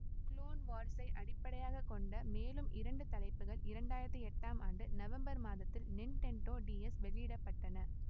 clone வார்ஸை அடிப்படையாக கொண்ட மேலும் இரண்டு தலைப்புகள் இரண்டு ஆயிரத்தி எட்டாம் ஆண்டு நவம்பர் மாதத்தில் நிண்டெண்டோ டிஎஸ் வெளியிட பட்டன